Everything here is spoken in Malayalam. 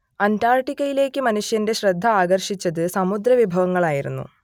അന്റാർട്ടിക്കയിലേക്ക് മനുഷ്യന്റെ ശ്രദ്ധ ആകർഷിച്ചത് സമുദ്രവിഭവങ്ങളായിരുന്നു